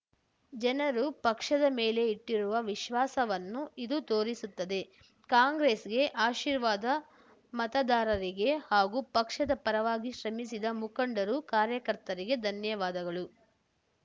ಜನರು ಪಕ್ಷದ ಮೇಲೆ ಇಟ್ಟಿರುವ ವಿಶ್ವಾಸವನ್ನು ಇದು ತೋರಿಸುತ್ತದೆ ಕಾಂಗ್ರೆಸ್‌ಗೆ ಆಶೀರ್ವಾದ ಮತದಾರರಿಗೆ ಹಾಗೂ ಪಕ್ಷದ ಪರವಾಗಿ ಶ್ರಮಿಸಿದ ಮುಖಂಡರು ಕಾರ್ಯಕರ್ತರಿಗೆ ಧನ್ಯವಾದಗಳು